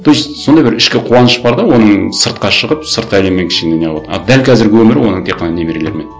то есть сондай бір ішкі қуаныш бар да оның сыртқа шығып сырт әлеммен кішкене не қылып отырған а дәл қазіргі өмірі оның тек қана немерелермен